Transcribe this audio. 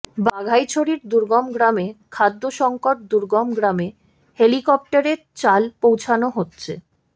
বাঘাইছড়ির দুর্গম গ্রামে খাদ্যসংকট দুর্গম গ্রামে হেলিকপ্টারে চাল পৌঁছানো হচ্ছে